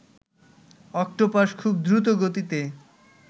octopus খুব দ্রুত গতিতে